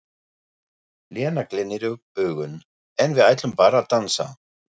Lena glennir upp augun: En við ætlum bara að dansa.